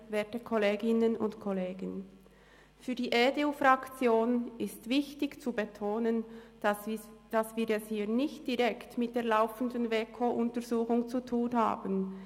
Für die EDU-Fraktion ist es wichtig zu betonen, dass wir es hier nicht direkt mit der laufenden WEKO-Untersuchung zu tun haben.